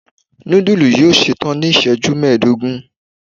nudulú yóò ṣetan ni iṣẹju mẹdogun